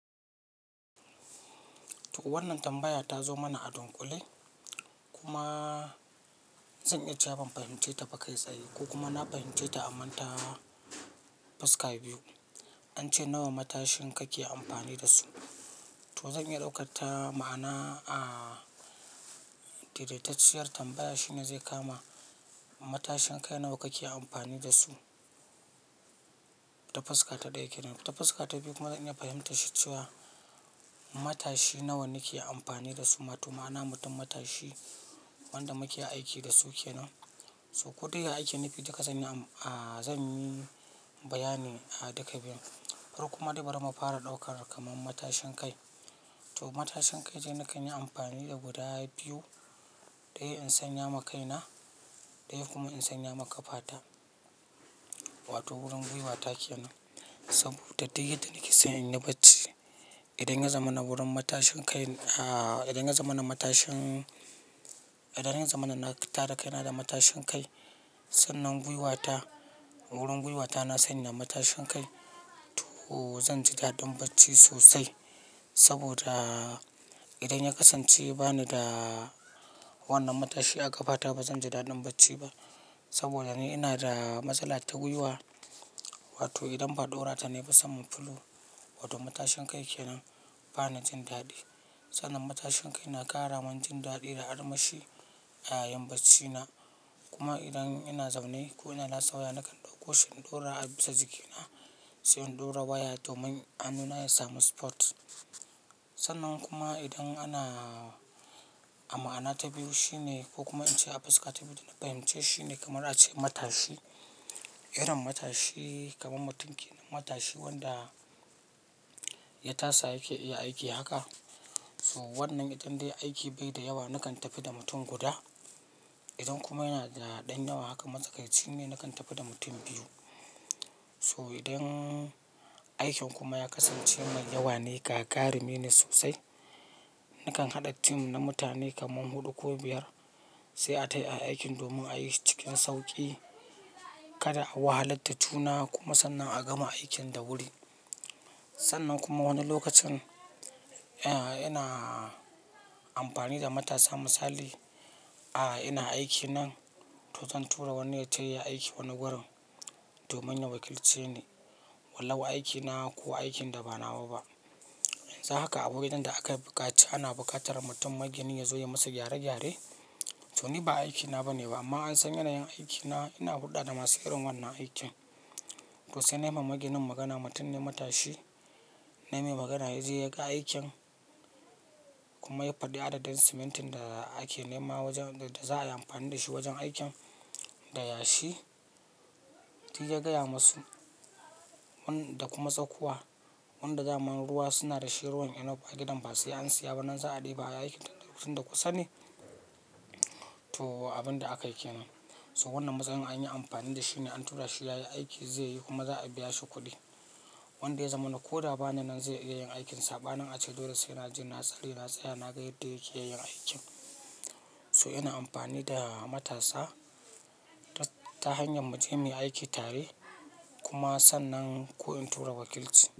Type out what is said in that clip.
To wannan tambaya ta zo mana a dunƙule kuma zan iya cewa ban fahimce ta ba kai tsaye ko kuma na fahimce ta amanta fuska biyu. An ce nawa matashin kake amfani da su, to zan iya daukar ta ma'ana, a daidaitacciyar tambaya shine zai kama matashin kai nawa kake amfani da su? Ta fuska ta ɗaya kenan. Ta fuska ta biyu kuma ina fahimtashi cewa matashi nawa nake amfani da su ma, to ma'ana mutum matashi wanda muke aiki da su kenan. To ko dai aiki na fi duka zan yi, a zan yi bayani a duka biyun. Koma dai bari mu fara ɗaukar kaman matashin kai. To matashin kai dai nakan yi amfani da guda biyu, ɗaya in sanya ma kaina, ɗaya kuma in sanya ma ƙafata wato wurin gwiwata kenan. Saboda duk yadda nake so in yi bacci, idan ya zama na wurin matashin kai, a idan ya zama na matashin, idan ya zama na tada kaina da matashin kai, sannan gwiwata, wurin gwiwata na sanya matashin kai to zan ji daɗin bacci sosai. Saboda idan ya kasance ba ni da wannan matashi a ƙafata ba zan ji daɗin bacci ba. Saboda ni ina da matsala ta guiwa, wato idan ba daurata nayi ba saman filo Sannan matashin kai na ƙara min jin daɗi da armashi a yayin bacci na. Kuma idan ina zaune ko ina lasewa nakan ɗauko shi in ɗora a bisa jikina, sai in ɗora waya domin hannuna ya samu support. Sannan kuma idan ana, a ma'ana ta biyu shine ko kuma an ce a fuska ta biyu da na fahimce shine kamar a ce matashi, irin matashi kamar mutum matashi wanda ya tasa yake iya aiki haka. To wannan idan dai aiki bai da yawa nakan tafi da mutum guda. Idan kuma yana da ɗan yawa haka matsakaici ne nakan tafi da mutum biyu. So idan aikin kuma ya kasance mai yawa ne, gagarumi ne sosai, nakan haɗa team na mutane kaman huɗu ko biyar sai a tai ayi aiki domin a yi shi cikin sauƙi. Kada a wahalar da juna kuma sannan a gama aikin da wuri. Sannan kuma wani lokacin, ina amfani da matasa misali a ina aiki nan, to zan tura wani ya taya aiki wani wurin domin ya wakilce ni. Wallahu aikina ko aikin da ba nawa ba. Dan hakahaka a wurin da aka buƙaci ana buƙatar mutum magini ya zo ya musu gyare gyare. To ni ba aiki na ba ne ba amma an sanya nayin aiki na, ina hulɗa da masu irin wannan aikin. To sai na yi mamakin magana, mutum ne matashi, na yi mai magana yaje ya ga aikin kuma ya faɗi adadin simintin da ake nema wajen, da za a yi amfani da shi wajen aikin da yashi. Sai ya gaya musu wanda kuma tsakuwa, wanda dama ruwa suna da shi ruwan enough gidan ba sai an saya ba nan za a ɗiba aiki tun da kusa ne. To abin da aka yi kenan. So wannan matsayin an yi amfani da shi ne an tura shi ya yi aiki zai yi kuma za a biya shi kuɗi. Wanda ya zamana ko da bani nan zai iya yin aikinsa. Ɓa nan ace dole sai na je, na tsali, na tsaya na ga yadda yake yin aikin. So ina amfani da matasa ta hanyar mu je mu yi aiki tare kuma sannan ko in tura wakilci.